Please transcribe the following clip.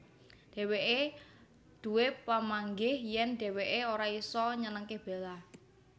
Dhéwéké duwé pamanggih yèn dhéwéké ora isa nyenengké Bella